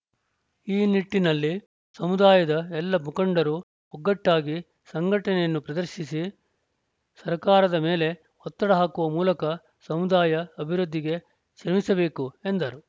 ಈ ನಿಟ್ಟಿನಲ್ಲಿ ಸಮುದಾಯದ ಎಲ್ಲ ಮುಖಂಡರು ಒಗ್ಗಟ್ಟಾಗಿ ಸಂಘಟನೆಯನ್ನು ಪ್ರದರ್ಶಿಸಿ ಸರ್ಕಾರದ ಮೇಲೆ ಒತ್ತಡ ಹಾಕುವ ಮೂಲಕ ಸಮುದಾಯ ಅಭಿವೃದ್ಧಿಗೆ ಶ್ರಮಿಸಬೇಕು ಎಂದರು